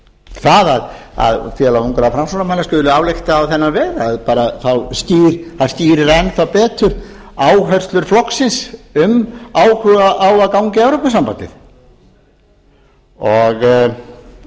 það að félag ungra framsóknarmanna skuli álykta á þennan veg skýrir enn þá betur áherslur flokksins um áhuga á að ganga í evrópusambandið